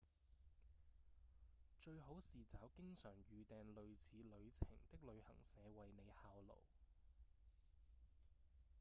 最好是找經常預訂類似旅程的旅行社為您效勞